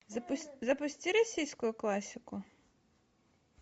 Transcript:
запусти российскую классику